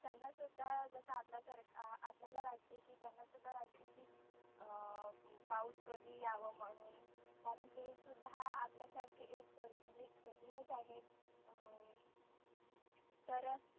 त्यांना सुध्दा जसा अत्ता सारखा आपल्याला वाटतं की त्यांना सुद्धा की अं पाऊस कधी याव म्हणुन कारण ते सुद्धा आपल्या सारखी एक संधी ते एक सजिवच आहे हम्म तर